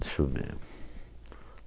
Deixa eu ver.